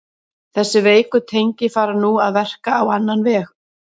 Þessi veiku tengi fara nú að verka á annan veg.